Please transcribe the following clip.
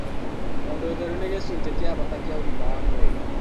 Tondũ ũtheru nĩ gĩcunjĩ gĩa bata kĩa ũgima wa mwĩrĩ